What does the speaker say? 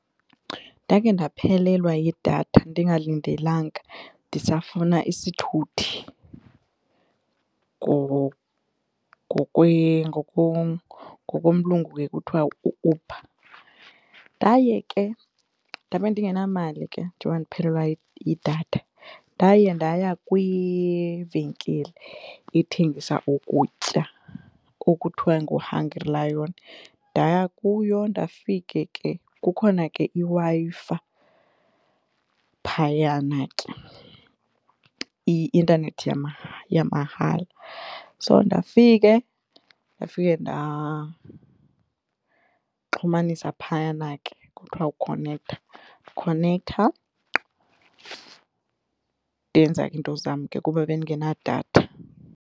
Ndake ndaphelelwa yidatha ndingalindelanga ndisafuna isithuthi ngokomlungu ekuthiwa u-Uber. Ndaye ke ndabe ndingenamali ke njengoba ndiphelelwa yidatha ndaye ndaya kwivenkile ethengisa ukutya okuthiwa nguHungry Lion ndaya kuyo ndafika ke kukhona ke iWi-Fi phayana ke i-intanethi yamahala. So ndifike, ndafika ndaxhumanisa phayana ke kuthiwa kukukhonektha khonektha ndenza ke iinto zam ke kuba bendingenadatha.